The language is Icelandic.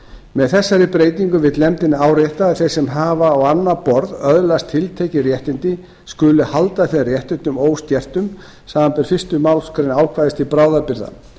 með þessari breytingu vill nefndin árétta að þeir sem hafa á annað borð öðlast tiltekin réttindi skuli halda þeim réttindum óskertum samanber fyrstu málsgrein ákvæðis til bráðabirgða